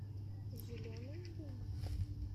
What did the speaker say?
зеленый луг